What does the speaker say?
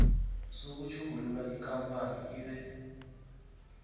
sokutjhugulula ikampani ibe